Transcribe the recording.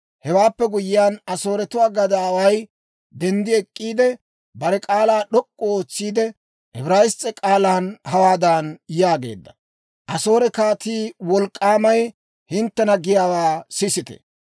Hewaappe guyyiyaan Asooretuwaa gadaaway denddi ek'k'iide, bare k'aalaa d'ok'k'u ootsiide, Ibrayiss's'e k'aalan hawaadan yaageedda; «Asoore kaatii wolk'k'aamay hinttena giyaawaa sisite!